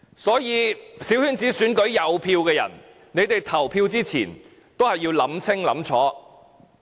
所以在小圈子選舉有投票權的人，你們在投票前要好好想清楚。